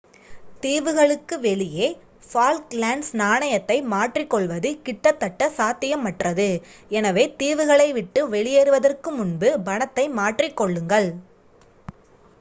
தீவுகளுக்கு வெளியே ஃபால்க்லேண்ட்ஸ் நாணயத்தை மாற்றிக்கொள்வது கிட்டத்தட்ட சாத்தியமற்றது எனவே தீவுகளை விட்டு வெளியேறுவதற்கு முன்பு பணத்தை மாற்றிக்கொள்ளுங்கள்